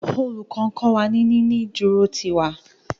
Olùkó nkó wá ní ní ìdúró tí ìwà